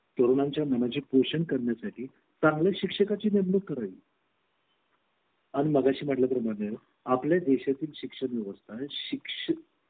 आता माझ्या मुलाच्या शाळेमध्ये मी नेहमी त्याला विचारत असते की तुमचे शौचालय कसे आहेत किंवा तुम्ही कचरा डस्टबिनमध्येच टाकता का तुम्हाला काय टीचर सांगते